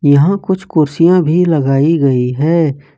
यहां कुछ कुर्सियाँ भी लगाई गई है।